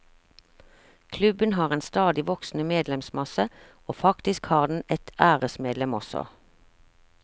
Klubben har en stadig voksende medlemsmasse, og faktisk har den et æresmedlem også.